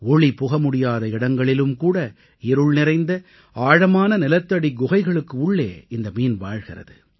ஒளி புகமுடியாத இடங்களிலும்கூட இருள்நிறைந்த ஆழமான நிலத்தடிக் குகைகளுக்கு உள்ளே இந்த மீன் வாழ்கிறது